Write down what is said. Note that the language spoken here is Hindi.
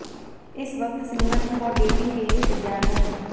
इस वक्त सिंगल हूं और डेटिंग के लिए तैयार हूं